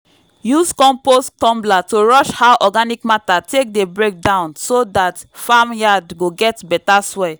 use compost tumbler to rush how organic matter take dey break down so dat farm yard go get better soil